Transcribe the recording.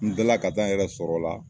N tilala ka taa n yɛrɛ sɔrɔla